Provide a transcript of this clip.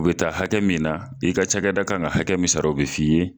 U bɛ taa hakɛ min na, i ka ca kɛ da kan ka hakɛ misara o bɛ f'i ye.